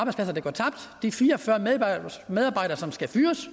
de fire og fyrre medarbejdere medarbejdere som skal fyres